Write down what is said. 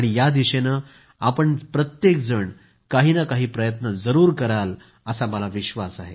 या दिशेने आपण सगळेजण काही ना काही प्रयत्न जरूर कराल असा मला विश्वास आहे